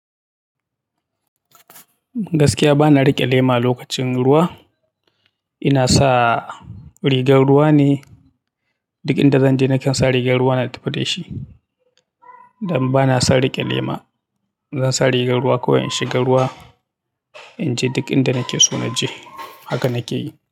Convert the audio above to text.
Gaskiya bana riƙe lema lokacin ruwa. Ina sa rigar ruwa ne, duk inda zan je na kansa rigar ruwa na tafi da shi. Dan bana son riƙe lema. Zan sa rigar ruwa kawai in shiga ruwa, in je duk inda nake so na je haka nake yi.